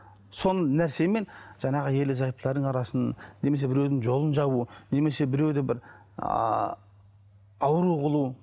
сол нәрсемен жаңағы ерлі зайыптылардың арасын немесе біреудің жолын жабу немесе біреуді бір ыыы ауру қылу